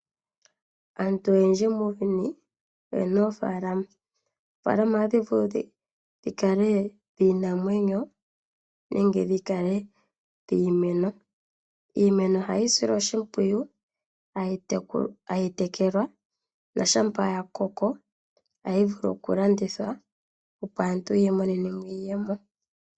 Aantu oyendji muuyuni oye na oofaalama. Oofaalama otadhi vulu dhi kale dhiinamwenyo nenge dhi kale dhiimeno. Iimeno ohayi silwa oshimpwiyu, tayi tekelwa noshampa ya koko tayi vulu okulandithwa, opo aantu yi imonene mo iiyemo.